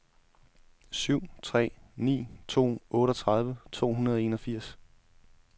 syv tre ni to otteogtredive to hundrede og enogfirs